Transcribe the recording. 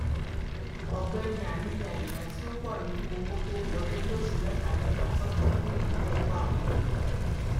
ọgbẹni ali ya ìdá tí ó pọ nínú owó tó ń wọlé lóṣù mẹtamẹta sọtọ fún ìnáwó ẹkọ àwọn ọmọ